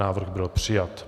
Návrh byl přijat.